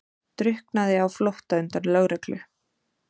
Drukknaði á flótta undan lögreglu